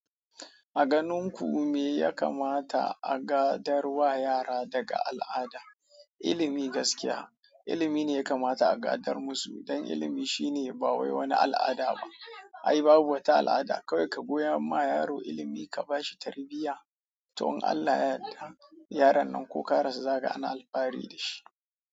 A ganin ku me ya kamata a gadarwa yara daga al'ada? Ilimi gaskiya, ilimi ne ya kamata a gadar musu, dan ilimi shine bai wani al'ada ba. Ai babu wata al'ada, kawai ka koya ma yaro ilimi ka bashi tarbiyya, to in Allah ya yarda yaron nan ko ka rasu zaka ga ana alfahari da shi.